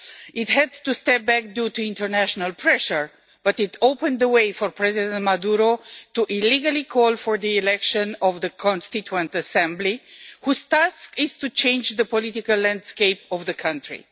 It had to step back due to international pressure, but it opened the way for the President Maduro to illegally call for the election of the Constituent Assembly, whose task is to change the political landscape of the country.